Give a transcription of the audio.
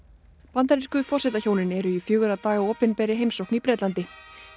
bandarísku forsetahjónin eru í fjögurra daga opinberri heimsókn í Bretlandi